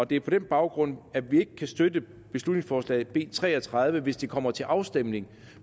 det er på den baggrund at vi ikke kan støtte beslutningsforslag nummer b tre og tredive hvis det kommer til afstemning